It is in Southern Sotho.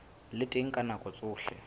le teng ka nako tsohle